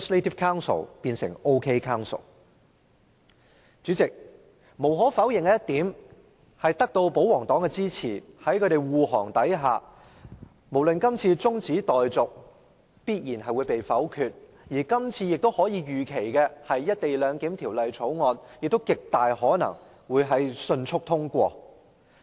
代理主席，無可否認，在保皇黨的支持和護航下，這項中止待續議案必然會被否決，而預期《條例草案》亦極大可能獲迅速通過。